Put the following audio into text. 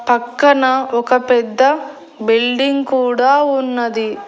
పక్కన ఒక పెద్ద బిల్డింగ్ కూడా ఉన్నది.